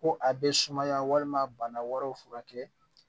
Ko a bɛ sumaya walima bana wɛrɛw furakɛ